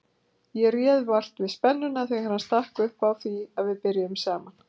Ég réð vart við spennuna þegar hann stakk upp á því að við byrjuðum saman.